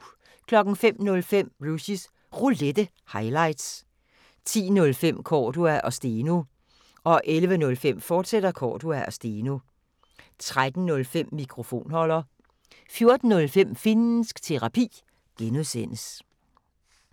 05:05: Rushys Roulette – highlights 10:05: Cordua & Steno 11:05: Cordua & Steno, fortsat 13:05: Mikrofonholder 14:05: Finnsk Terapi (G)